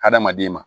Hadamaden ma